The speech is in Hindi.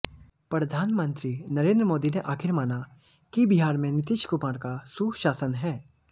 प्रधानमंत्री नरेंद्र मोदी ने आख़िर माना कि बिहार में नीतीश कुमार का सुशासन है